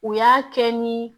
U y'a kɛ ni